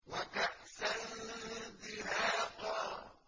وَكَأْسًا دِهَاقًا